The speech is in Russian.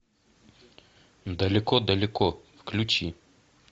далеко далеко включи